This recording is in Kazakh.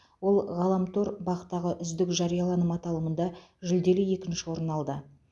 ол ғаламтор бақ тағы үздік жарияланым аталымында жүлделі екінші орын алды